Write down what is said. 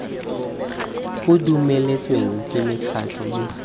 bo dumeletsweng ke mekgatlho mme